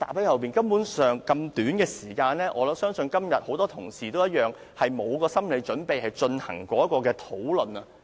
在這麼短的時間內，我相信今天很多同事也一樣，根本沒有心理準備進行此項辯論。